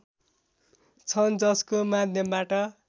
छन् जसको माध्यमबाट